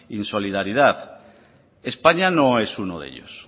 insolidaridad españa no es uno de ellos